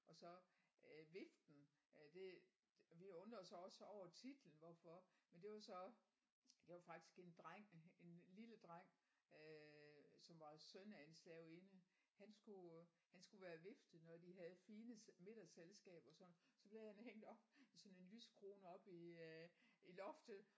Og så øh Viften øh det vi undrede os også over titlen hvorfor men det var så det var faktisk en dreng en en lille dreng øh som var søn af en slavinde han skulle han skulle være vifte når de havde fine middagsselskaber sådan så blev han hængt op i sådan en lysekrone oppe i i loftet